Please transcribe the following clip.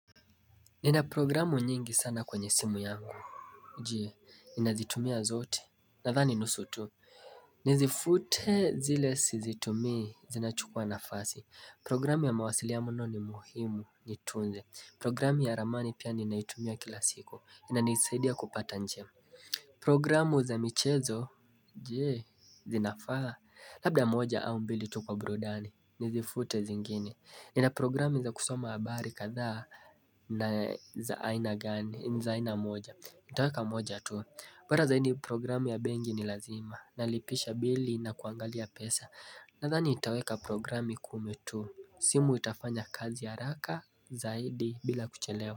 Nina programu nyingi sana kwenye simu yangu Jie, ninazitumia zote Nadhani nusu tu Nizifute zile sizitumii, zinachukua nafasi Programu ya mawasili ya mno ni muhimu, nitunze Programu ya ramani pia ninaitumia kila siku, inanisaidia kupata njia Programu za michezo Jee, zinafaa, labda moja au mbili tu kwa burudani, nizifute zingine nina gani, zaaina moja. Ntaweka moja tu. Mara zaidi programu ya bengi ni lazima. Nalipisha bili na kuangalia pesa. Nadhani itaweka programu kumi tu. Simu itafanya kazi yaraka zaidi bila kuchelewa.